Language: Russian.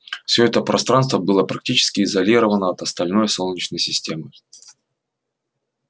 всё это пространство было практически изолировано от остальной солнечной системы